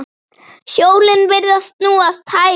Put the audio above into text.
Hjólin virðast snúast hægar.